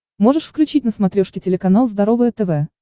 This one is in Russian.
можешь включить на смотрешке телеканал здоровое тв